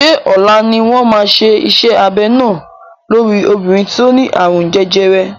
Ṣé ọ̀la ni wọ́n máa ṣe iṣẹ́ abẹ náà lórí obìnrin tí ó ní àrùn jẹjẹrẹ?